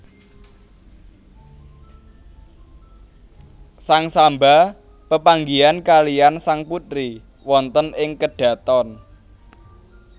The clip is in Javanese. Sang Samba pepanggihan kaliyan sang putri wonten ing kadhaton